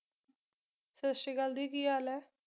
ਸਤਿ ਸ਼੍ਰੀ ਅਕਾਲ ਦੀ ਕੀ ਹਾਲ ਐ